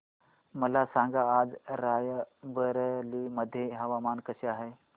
मला सांगा आज राय बरेली मध्ये हवामान कसे आहे